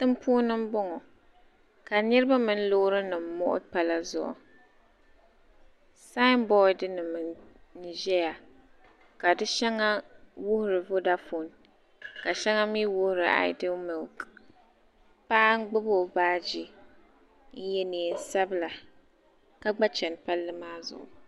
Tiŋa puuni m-bɔŋɔ ka niriba mini loorinima muɣi pala zuɣu saambodinima n-ʒeya ka di shɛŋa wuhiri vodafon ka shɛŋa mi wuhiri ayidiili miliki paɣa m-gbubi o baaji n-ye neensabila ka gba chani palli maa zuɣu